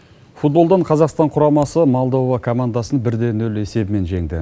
футболдан қазақстан құрамасы молдова командасын бірде нөл есебімен жеңді